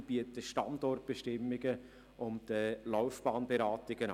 Diese bieten Standortbestimmungen und Laufbahnberatungen an.